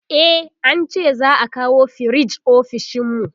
e an ce za'a kawo firij ofishinmu